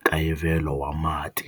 nkayivelo wa mati.